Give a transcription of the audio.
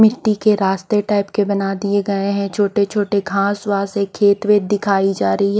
मिट्टी के रास्ते टाइप के बना दिए गए हैं छोटे-छोटे घास वास है खेत वेत की दिखाई जा रही है।